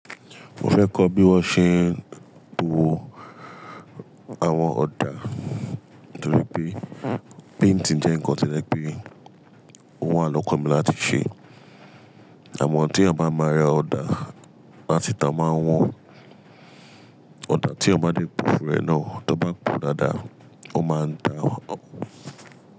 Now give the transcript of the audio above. Mo fẹ́ kọ́ bí wón ṣe ń po àwọn ọ̀dà torípé painting jẹ́ nǹkan tí je pẹ́ o wà lọ́kọ mi láti ṣe. Àmọ́ tí a eyàn bá máa rẹ ọ̀dà, látìta o máa ń wọ́n. Ọ̀dà tí a bá dé po fún ẹ náà, tó bá po dáadáa, ó máa dáa.